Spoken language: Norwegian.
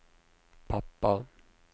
pappa